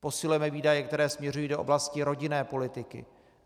Posilujeme výdaje, které směřují do oblasti rodinné politiky.